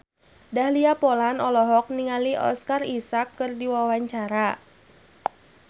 Dahlia Poland olohok ningali Oscar Isaac keur diwawancara